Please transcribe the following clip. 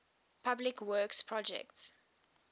public works projects